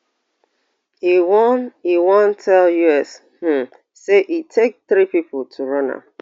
e wan e wan tell us um say e take three pipo to run am